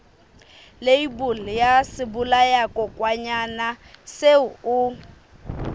leibole ya sebolayakokwanyana seo o